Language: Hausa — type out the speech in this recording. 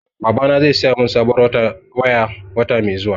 Babana zai saya min sabuwar waya, wata mai zuwa.